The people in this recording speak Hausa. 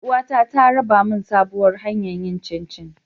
Yar uwata ta raba min sabuwar hanyar yin chinchi.